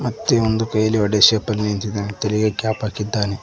ಮತ್ತೆ ಒಂದು ಕೈಲಿ ಹೊಡೆ ಶೇಪ ಲಿ ನಿಂತಿದಾನೆ ತಲೆಗೆ ಕ್ಯಾಪ್ ಹಾಕಿದ್ದಾನೆ.